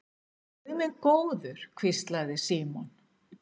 Guð minn góður hvíslaði Símon.